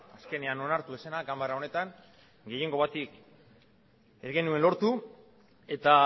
azkenean onartu ez zena ganbara honetan gehiengo bat ez genuen lortu eta